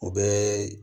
O bɛɛ